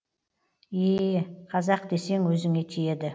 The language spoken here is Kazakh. ееее қазақ десең өзіңе тиеді